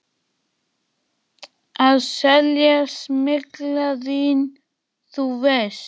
Að selja smyglað vín, þú veist.